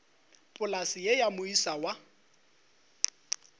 polase ye ya moisa wa